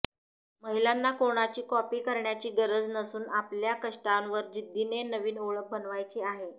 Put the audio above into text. महिलांना कोणाची कॉपी करण्याची गरज नसून आपल्या कष्टावर जिद्दीने नवीन ओळख बनवायची आहे